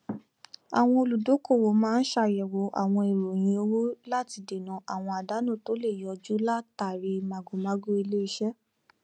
àwọn olùdókòwò máa n ṣàyẹwò àwọn ìròyìn owó láti dènà àwọn àdánù tó le yọjú látàrí màgòmágó iléiṣẹ